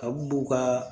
Ka b'u ka